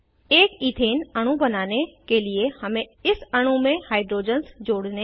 एक इथेन अणु बनाने के लिए हमें इस अणु में हाइड्रोजन्स जोड़ने हैं